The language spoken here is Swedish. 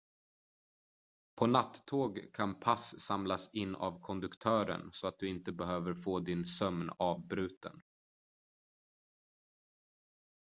på nattåg kan pass samlas in av konduktören så att du inte behöver få din sömn avbruten